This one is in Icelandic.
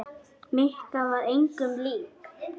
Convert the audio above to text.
Mikka var engum lík.